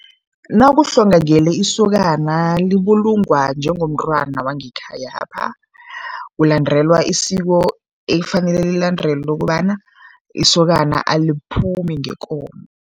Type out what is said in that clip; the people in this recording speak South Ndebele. Nakuhlongakele isokana libulungwa njengomntwana wangekhayapha. Kulandelwa isiko ekufanele lilandelwe lokobana isokana aliphumi ngekomo.